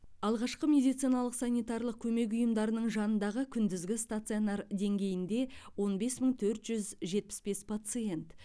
алғашқы медициналық санитариялық көмек ұйымдарының жанындағы күндізгі стационар деңгейінде он бес мың төрт жүз жетпіс бес пациент